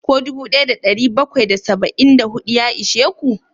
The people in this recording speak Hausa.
Ko dubu daya da dari bakwai da saba'in da hudu ya ishe ku?